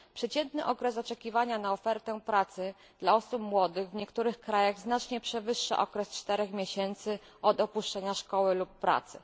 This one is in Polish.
Przeciętny okres oczekiwania na ofertę pracy dla osób młodych w niektórych krajach znacznie przewyższa okres czterech miesięcy od opuszczenia szkoły lub pracy.